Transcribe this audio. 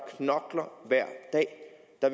er